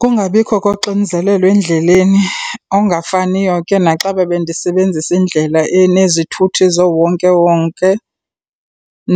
Kungabikho koxinzelelo endleleni okungafaniyo ke naxa bebendisebenzisa indlela enezithuthi zoowonkewonke